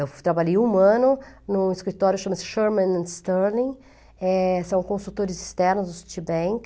Eu trabalhei um ano em um escritório chamado Sherman & Sterling, eh são consultores externos do Citibank.